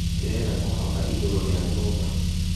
Ndĩrenda kũhamba igũrũrĩa nyũmba